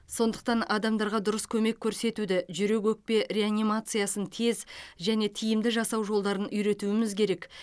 сондықтан адамдарға дұрыс көмек көрсетуді жүрек өкпе реанимациясын тез және тиімді жасау жолдарын үйретуіміз керек